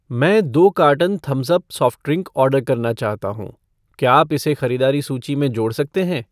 मैं दो carton Thums Up soft drink order करना चाहता हूँ , क्या आप इसे खरीदारी सूची में जोड़ सकते हैं?